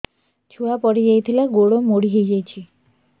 ଛୁଆ ପଡିଯାଇଥିଲା ଗୋଡ ମୋଡ଼ି ହୋଇଯାଇଛି